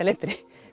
letri